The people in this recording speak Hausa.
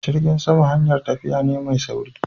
jirgin sama hayar tafiya ne mai sauri.